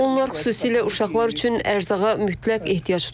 Onlar xüsusilə uşaqlar üçün ərzağa mütləq ehtiyac duyurlar.